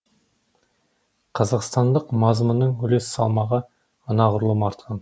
қазақстандық мазмұнның үлес салмағы анағұрлым артқан